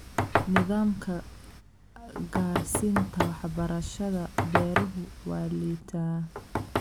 Nidaamka gaarsiinta waxbarashada beeruhu waa liitaa.